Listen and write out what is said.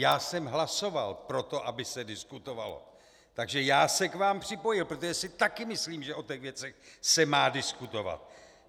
Já jsem hlasoval pro to, aby se diskutovalo, takže já se k vám připojil, protože si taky myslím, že o těch věcech se má diskutovat.